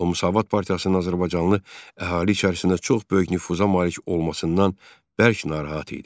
O Müsavat partiyasının azərbaycanlı əhali içərisində çox böyük nüfuza malik olmasından bərk narahat idi.